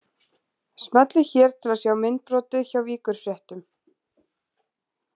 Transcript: Smellið hér til að sjá myndbrotið hjá Víkurfréttum